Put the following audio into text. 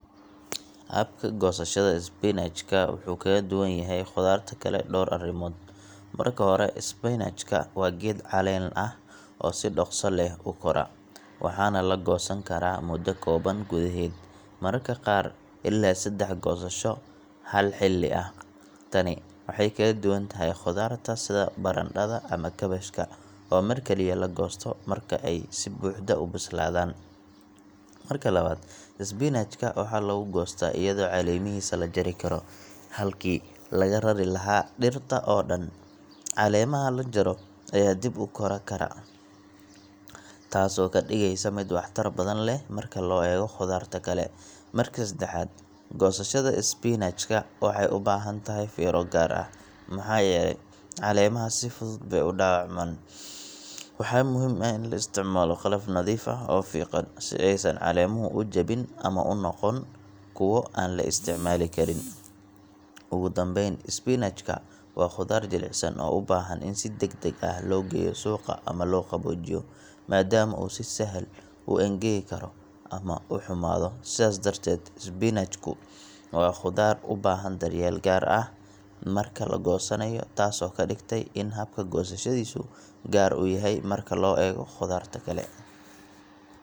Habka goosashada isbinajka wuxuu kaga duwan yahay khudaarta kale dhowr arrimood: Marka hore, isbinajka waa geed caleen ah oo si dhakhso leh u kora, waxaana la goosan karaa muddo kooban gudaheed, mararka qaar ilaa saddex goosasho hal xilli ah. Tani waxay kaga duwan tahay khudaarta sida barandhada ama kaabashka oo mar kaliya la goosto marka ay si buuxda u bislaadaan. Marka labaad, isbinajka waxaa lagu goostaa iyadoo caleemihiisa la jari karo, halkii laga rari lahaa dhirta oo dhan. Caleemaha la jaro ayaa dib u kora kara, taasoo ka dhigaysa mid waxtar badan leh marka loo eego khudaarta kale. Marka saddexaad, goosashada isbinajka waxay u baahan tahay fiiro gaar ah maxaa yeelay caleemaha si fudud bay u dhaawacmaan. Waxaa muhiim ah in la isticmaalo qalab nadiif ah oo fiiqan, si aysan caleemuhu u jabin ama u noqon kuwo aan la isticmaali karin. Ugu dambayn, isbinajka waa khudaar jilicsan oo u baahan in si degdeg ah loo geeyo suuqa ama loo qaboojiyo, maadaama uu si sahal ah u engegi karo ama u xumaado. Sidaas darteed, isbinajku waa khudaar u baahan daryeel gaar ah marka la goosanayo, taasoo ka dhigtay in habka goosashadiisu gaar u yahay marka loo eego khudaarta kale.